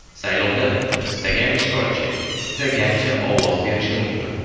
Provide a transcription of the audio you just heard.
Saylovda istagan ishtirokchi istagancha ovoz berishi mumkin.